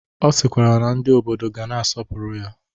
Ọ sịkwara na ndị obodo ga na-asọpụrụ ya.